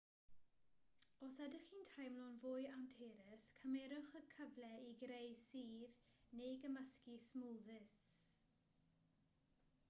os ydych chi'n teimlo'n fwy anturus cymerwch y cyfle i greu sudd neu gymysgu smwddis